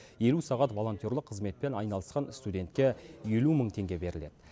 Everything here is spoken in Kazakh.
елу сағат волонтерлік қызметпен айналысқан студентке елу мың теңге беріледі